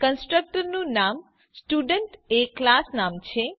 constructor નું નામ student એ ક્લાસ નામ છે